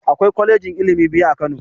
Akwai kwalejojin ilimi biyu a Kano.